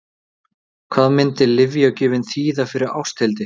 Hvað myndi lyfjagjöfin þýða fyrir Ásthildi?